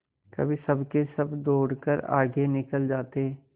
कभी सबके सब दौड़कर आगे निकल जाते